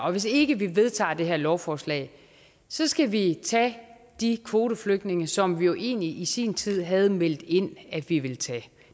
og hvis ikke vi vedtager det her lovforslag så skal vi tage de kvoteflygtninge som vi egentlig i sin tid havde meldt ind at vi ville tage